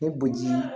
Ne bo ji